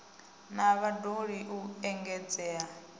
na vhad ologi u engedzea